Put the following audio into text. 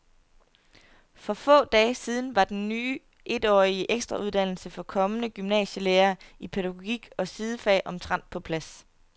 For få dage siden var den ny etårige ekstrauddannelse for kommende gymnasielærere i pædagogik og sidefag omtrent på plads.